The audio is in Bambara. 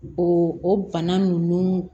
O o bana nunnu